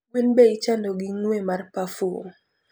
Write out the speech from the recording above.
gwen be ichando gi ngwe mar pafum